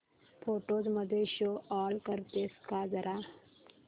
photos मध्ये show all करतेस का जरा